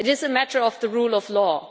It is a matter of the rule of law.